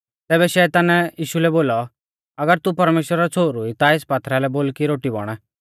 तैबै शैतानै यीशु लै बोलौ अगर तू परमेश्‍वरा रौ छ़ोहरु ई ता एस पात्थरा लै बोल कि रोटी बण